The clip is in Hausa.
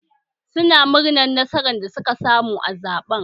Su na murnar nasarar da suka samu a zaɓen